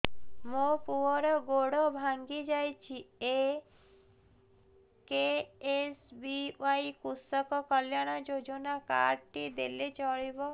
ମୋ ପୁଅର ଗୋଡ଼ ଭାଙ୍ଗି ଯାଇଛି ଏ କେ.ଏସ୍.ବି.ୱାଇ କୃଷକ କଲ୍ୟାଣ ଯୋଜନା କାର୍ଡ ଟି ଦେଲେ ଚଳିବ